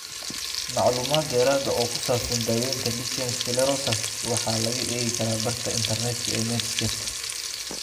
Macluumaad dheeraad ah oo ku saabsan daaweynta lichen sclerosus waxaa laga eegi karaa barta internetka ee Medscape.